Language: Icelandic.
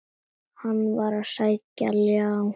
Hann var að sækja ljá.